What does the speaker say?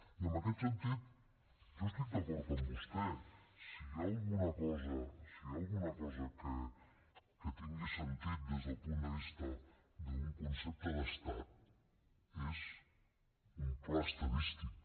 i en aquest sentit jo estic d’acord amb vostè si hi ha alguna cosa si hi ha alguna cosa que tingui sentit des del punt de vista d’un concepte d’estat és un pla estadístic